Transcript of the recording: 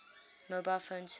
mobile phone service